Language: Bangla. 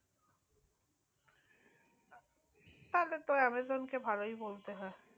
তাহলে তো amazon কে ভালোই বলতে হয়